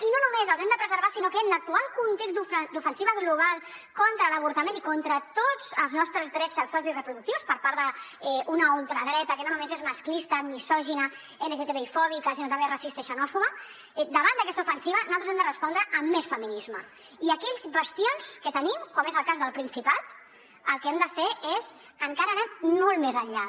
i no només els hem de preservar sinó que en l’actual context d’ofensiva global contra l’avortament i contra tots els nostres drets sexuals i reproductius per part d’una ultradreta que no només és masclista misògina lgtbi fòbica sinó també racista i xenòfoba davant d’aquesta ofensiva naltros hem de respondre amb més feminisme i a aquells bastions que tenim com és el cas del principat el que hem de fer és encara anar molt més enllà